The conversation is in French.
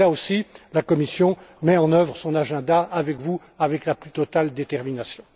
Là aussi, la Commission met en œuvre son agenda, avec vous, avec la plus totale détermination.